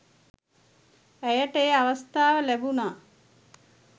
ඇයට ඒ අවස්ථාව ලැබුණා